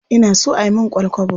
Ina so a yi min ƙwal-kwabo.